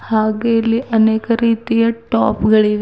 ಹಾಗೆ ಇಲ್ಲಿ ಅನೇಕ ರೀತಿಯ ಟಾಪ್ ಗಳಿವೆ.